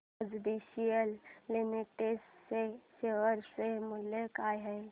आज BCL limited च्या share चे मूल्य काय आहे